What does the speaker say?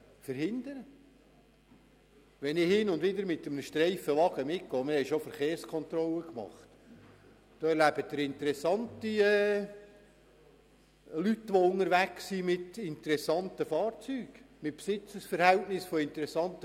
Wenn ich hin und wieder mit einem Streifenwagen mitgehe und eine Verkehrskontrolle miterlebe, treffe ich auf interessante Leute, die mit interessanten Fahrzeugen unterwegs sind.